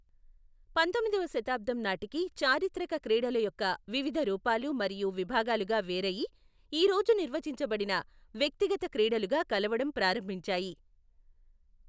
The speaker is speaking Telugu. పంతొమ్మిదవ శతాబ్దం నాటికి, చారిత్రక క్రీడల యొక్క వివిధ రూపాలు మరియు విభాగాలుగా వేరయి, ఈ రోజు నిర్వచించబడిన వ్యక్తిగత క్రీడలుగా కలవడం ప్రారంభించాయి.